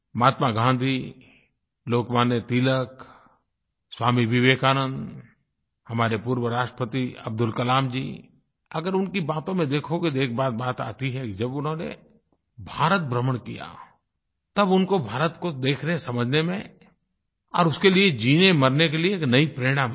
महात्मा गाँधी लोकमान्य तिलक स्वामी विवेकानंद हमारे पूर्व राष्ट्रपति अब्दुल कलाम जी अगर उनकी बातों में देखोगे तो एक बार बात आती है कि जब उन्होंने भारतभ्रमण किया तब उनको भारत को देखनेसमझने में और उसके लिए जीनेमरने के लिए एक नई प्रेरणा मिली